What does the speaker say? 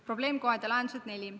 Probleemkohad ja lahendused, punkt 4.